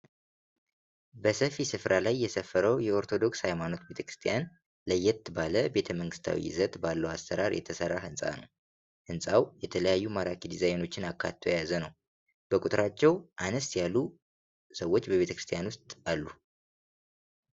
በሰፊ ስፍራ ላይ የሰፈረው የኦርቶዶክስ ሃይማኖት ቤተክርስቲያን ለየት ባለ ቤተመንግስታዊ ይዘት ባለው አሰራር የተሰራ ህንጻ ነው። ህንጻው የተለያዩ ማራኪ ዲዛይኖችን አካቶ የያዘ ነው። በቁጥራቸው አነስ ያሉ ሰዎች በቤተክርስቲያኑ ዉስጥ አሉ።